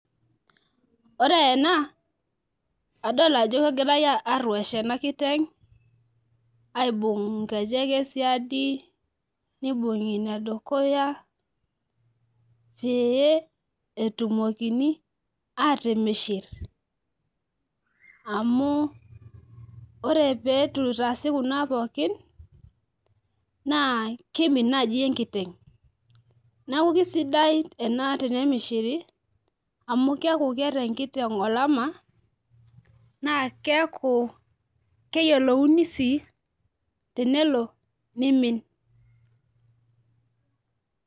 ore ena adol ajo kegirae aruesh ena kiteng'.aibung nkejek, esiadi, nibung'i ine dukuya pee, etuumokini aatimishir amu ore pee eitu itaasi kuna pookin naa keimin naajai enkiteng. neeku kisidai ena tenemishiri amu keeku keeta enkiteng' olama, naa keeku keyilouni sii tenelo nimin.